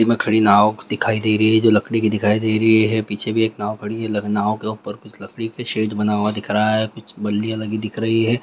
ई में खड़ी नाव दिखाई रही हैजो लकड़ी की दिखाई दे रही है पीछे भी एक नाव खड़ी हैलखनऊ के ऊपर कुछ लकड़ी के शेर बना हुआ दिख रहा है कुछ बलिया लगी दिख रही है।